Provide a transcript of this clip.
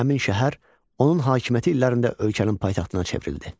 Həmin şəhər onun hakimiyyəti illərində ölkənin paytaxtına çevrildi.